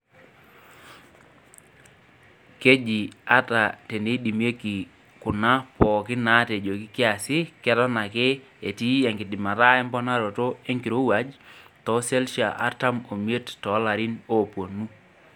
Keji ata teneidimieki kuna pookin naatejoki kiasi keton ake enkidimata emponaroto enkirowuaj too selshia artam omie toolarin oopuonu.